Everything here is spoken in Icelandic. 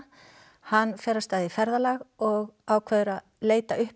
hann fer af stað í ferðalag og ákveður að leita uppi